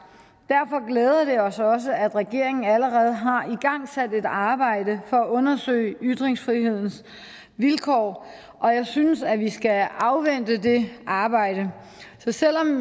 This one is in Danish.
derfor glæder det os også at regeringen allerede har igangsat et arbejde for at undersøge ytringsfrihedens vilkår og jeg synes at vi skal afvente det arbejde så selv om